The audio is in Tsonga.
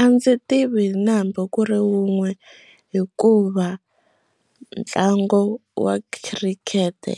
A ndzi tivi na hambi ku ri wun'we hikuva ntlangu wa khirikete